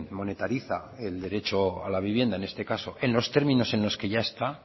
monetariza el derecho a la vivienda en este caso en los términos en los que ya está